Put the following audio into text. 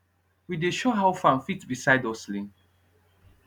we dey show how farm fit be side hustling